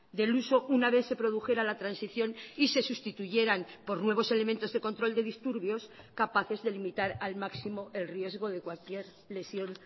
del uso una vez se produjera la transición y se sustituyeran por nuevos elementos de control de disturbios capaces de limitar al máximo el riesgo de cualquier lesión